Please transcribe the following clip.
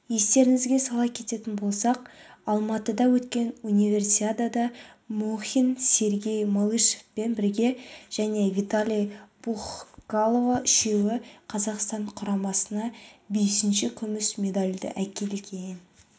естеріңізге сала кететін болсақ алматыда өткен универсиадада мұхин сергей малышевпен бірге және виталий пухкало үшеуі қазақстан құрамасына бесінші күміс медальді әкелген